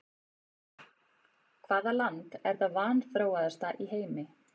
Hvaða land er það vanþróaðasta í heimi?